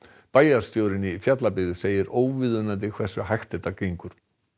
bæjarstjórinn í Fjallabyggð segir óviðunandi hversu hægt þetta gengur